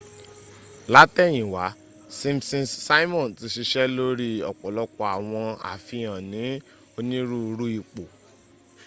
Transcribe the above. látẹ̀yìnwá simpsons simon ti sisẹ́ lórí ọ́pọ́lọpọ́ àwọn àfihàn ní onírúurú ipò